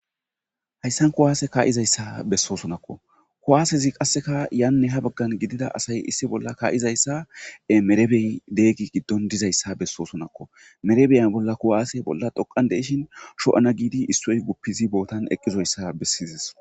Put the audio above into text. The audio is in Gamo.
hayssan kuwaase kaa7izayssa bessoosonakko kuwaasezi qasseka yanne ha baggan gidida asay issi bolla kaa7izayssae merebey deeggi giddon dizayssa bessoosonakko merebeyan bolla kuwaase bolla dhoqan deishin sho7ana giidi issoy guppizi bootan eqqizoyssaa bessizis